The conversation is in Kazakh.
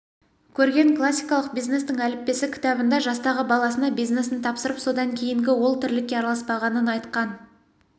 көрген классикалық бизнестің әліппесі кітабында жастағы баласына бизнесін тапсырып содан кейінгі ол тірлікке араласпағанын айтқан